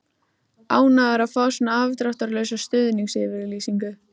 Ánægður að fá svona afdráttarlausa stuðningsyfirlýsingu.